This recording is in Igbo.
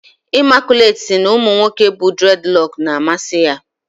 Imaculate si na umu nwoke bu dredloksu na-amasi ya